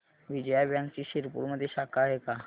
विजया बँकची शिरपूरमध्ये शाखा आहे का